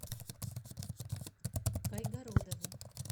кайгородову